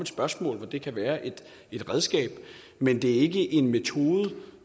spørgsmål hvor det kan være et redskab men det er ikke en metode